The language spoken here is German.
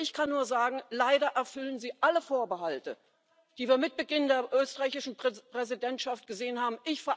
Also ich kann nur sagen Leider erfüllen Sie alle Vorbehalte, die wir mit Beginn der österreichischen Präsidentschaft gesehen haben.